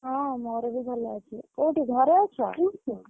ହଁ ମୋର ବି ଭଲ ଅଛି। କୋଉଠି ଘରେ ଅଛ?